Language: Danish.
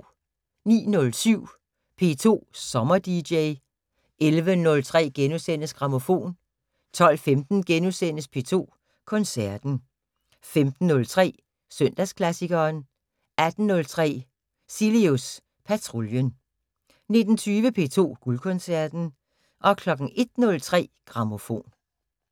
09:07: P2 Sommer-dj 11:03: Grammofon * 12:15: P2 Koncerten * 15:03: Søndagsklassikeren 18:03: Cilius Patruljen 19:20: P2 Guldkoncerten 01:03: Grammofon